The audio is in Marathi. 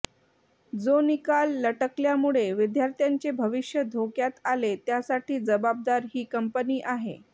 जो निकाल लटकल्यामुळे विद्यार्थ्यांचे भविष्य धोक्यात आले त्यासाठा जबाबदार ही कंपनी आहे